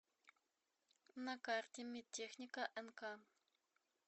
на карте медтехника нк